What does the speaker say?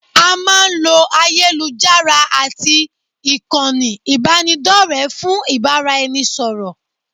A máa ń lo ayélujára àti ìkànnì ìbánidọ́rẹ̀ẹ́ fún ìbáraẹnisọ̀rọ̀